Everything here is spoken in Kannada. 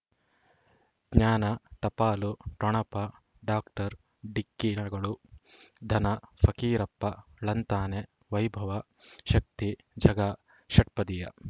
ಜ್ಞಾನ ಟಪಾಲು ಠೊಣಪ ಡಾಕ್ಟರ್ ಢಿಕ್ಕಿ ಣಗಳನು ಧನ ಫಕೀರಪ್ಪ ಳಂತಾನೆ ವೈಭವ್ ಶಕ್ತಿ ಝಗಾ ಷಟ್ಪದಿಯ